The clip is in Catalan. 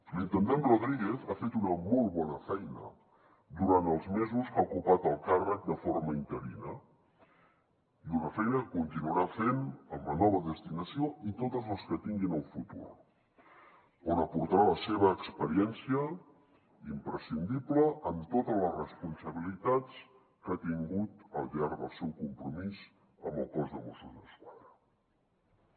l’intendent rodríguez ha fet una molt bona feina durant els mesos que ha ocupat el càrrec de forma interina i una feina que continuarà fent amb la nova destinació i totes les que tingui en el futur on aportarà la seva experiència imprescindible en totes les responsabilitats que ha tingut al llarg del seu compromís amb el cos de mossos d’esquadra